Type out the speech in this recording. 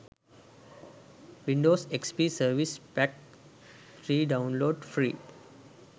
windows xp service pack 3 download free